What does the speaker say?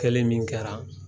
Kelen min kɛra